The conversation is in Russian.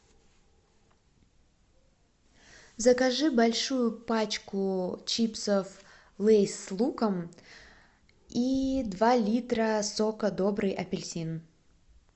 закажи большую пачку чипсов лейс с луком и два литра сока добрый апельсин